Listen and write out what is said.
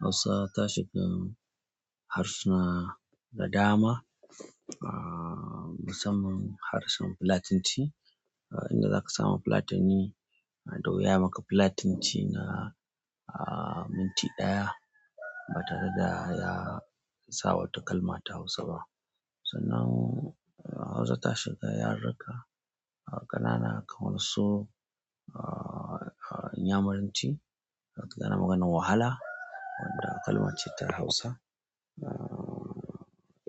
Hausa ta shiga harsuna da dama, ah, musamman harshen Fulatanci. Inda zaka samu bafulatani, yana da wuya ya maka fulatanci na minti ɗaya, ba tareda ya sa wata kalma ta hausa ba sannan Hausa ta shiga yaruka ƙanana kamarsu, ah, Inyamuranci, tana maganan wahala wanda kalman ce ta Hausa. Ah,